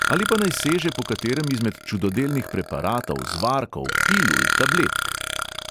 Ali pa naj seže po katerem izmed čudodelnih preparatov, zvarkov, pilul, tabletk?